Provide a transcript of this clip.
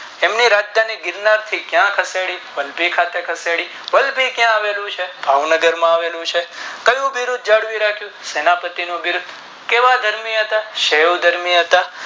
એમની રાજધાની ગિરનારથી ક્યાં ખસેડીધંધી ખાતે ખસેડી વલભી ક્યાં આવેલું ચ ભાવનગર માં આવેલું છે કયું બિરૂદ જાળવી રાખું સેનાપતિ નું બિરુદ કેવા ધર્મી હતા ક્ષયમ ધર્મી હતા